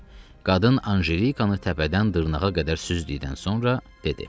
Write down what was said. Qadın Anjelikanı təpədən dırnağa qədər süzdükdən sonra dedi: